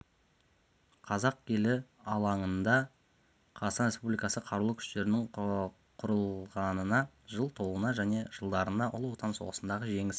қазақ елі алаңында қазақстан республикасы қарулы күштерінің құрылғанына жыл толуына және жылдардағы ұлы отан соғысындағы жеңіс